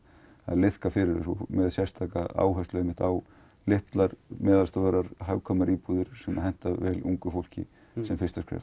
liðka fyrir með sérstaka áherslu á litlar meðaltstórar íbúðir sem henta vel ungu fólki sem fyrsta skref